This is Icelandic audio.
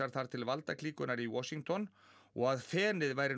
þar til valdaklíkunnar í Washington og að fenið væri